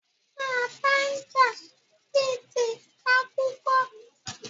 Taa bá ń jà, bí ti ká kú kọ́.